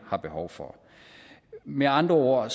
har behov for med andre ord